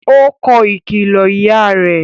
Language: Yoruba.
Ó kọ ìkìlọ ìyá rẹ̀